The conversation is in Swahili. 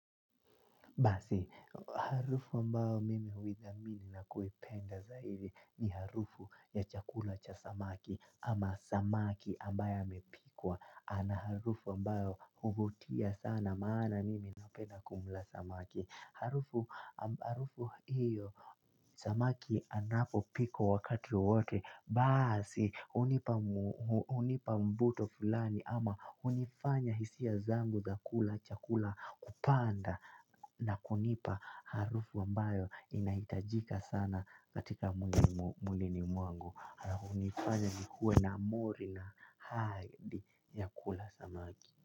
Basi, harufu ambayo mimi huithamini na kuipenda zaidi ni harufu ya chakula cha samaki ama samaki ambayo amepikwa ana harufu ambayo hufutia sana maana mimi napenda kumla samaki. Harufu hiyo samaki anapo pikwa wakati wowote basi hunipa hunipa mvuto fulani ama hunifanya hisia zangu za kula chakula kupanda na kunipa harufu ambayo inaitajika sana katika mwilini mwangu hunifanya nikuwe na mori na aaidhi ya kula samaki.